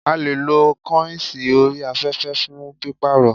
A leè lo kọ́ìnsì orí afẹ́fẹ́ fún pípàrọ̀